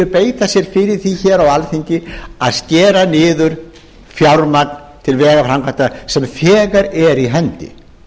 beita sér fyrir því hér á alþingi að skera niður fjármagn til vegaframkvæmda sem þegar er í hendi